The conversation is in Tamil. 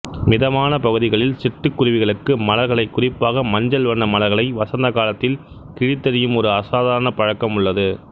மிதமான பகுதிகளில் சிட்டுக்குருவிகளுக்கு மலர்களைக் குறிப்பாக மஞ்சள் வண்ண மலர்களை வசந்தகாலத்தில் கிழித்தெறியும் ஒரு அசாதாரண பழக்கம் உள்ளது